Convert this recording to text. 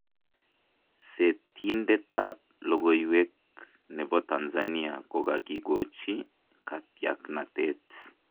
seetindetab lokoywek nebo Tanzania kokakikochi katyaknatet